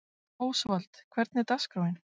Ósvald, hvernig er dagskráin?